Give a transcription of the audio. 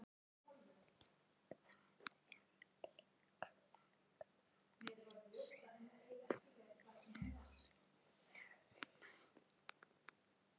Það er líklega þess vegna.